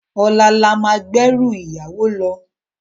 Òlá lá má gbé èrú iyàwó lò